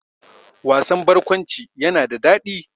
Wasan barkwanci yana da daɗi